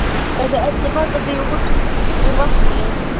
Þessi efni falla því út úr vatninu.